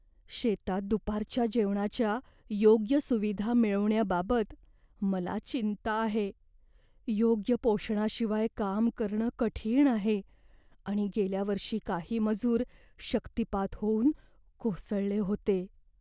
शेतात दुपारच्या जेवणाच्या योग्य सुविधा मिळवण्याबाबत मला चिंता आहे. योग्य पोषणाशिवाय काम करणं कठीण आहे आणि गेल्या वर्षी काही मजूर शक्तिपात होऊन कोसळले होते.